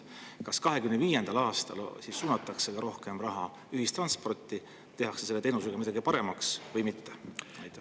Kas 2025. aastal suunatakse ka rohkem raha ühistransporti, tehakse see teenus paremaks või mitte?